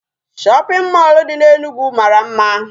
Shopping mall dị n'Enugu mara mma.